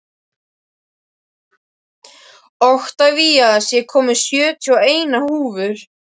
Oktavías, ég kom með sjötíu og eina húfur!